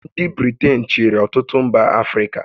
Ndị Britain chịrị ọtụtụ mba Africa